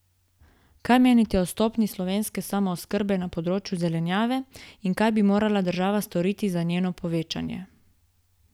Kaj menite o stopnji slovenske samooskrbe na področju zelenjave in kaj bi morala država storiti za njeno povečanje?